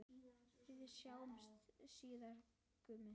Við sjáumst síðar, Gummi.